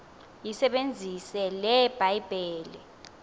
yisebenzise le bhayibhile